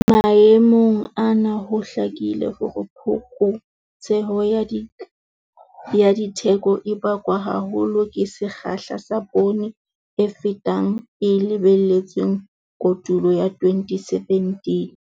Maemong ana ho hlakile hore phokotseho ya ditheko e bakwa haholo ke sekgahla sa poone e fetang e lebelletsweng kotulong ya 2017.